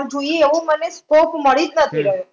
પણ જોઈએ એવો scope મને મળી જ નથી રહ્યો.